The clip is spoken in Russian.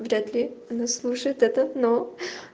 вряд ли она слушает это но